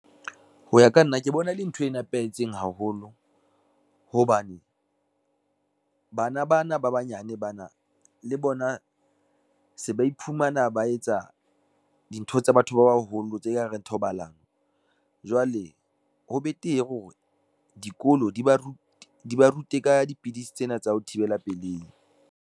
Ho ya ka nna ke bona e le ntho e nepahetseng haholo hobane, bana bana ba banyane bana le bona se ba iphumana ba etsa dintho tsa batho ba baholo, tse ka reng thobalano. Jwale ho betere hore dikolo di ba rute, di ba rute ka dipidisi tsena tsa ho thibela pelehi.